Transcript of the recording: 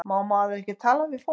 Má maður ekki tala við fólk?